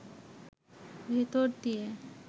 ভেতর দিয়ে